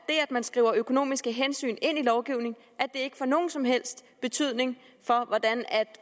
man skriver økonomiske hensyn ind i lovgivningen ikke får nogen som helst betydning for hvordan